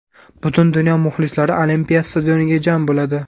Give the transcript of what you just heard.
Butun dunyo muxlislari Olimpiya stadioniga jam bo‘ladi.